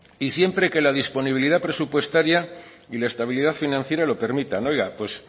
y siempre que la disponibilidad presupuestaria y la estabilidad financiera lo permita oigan pues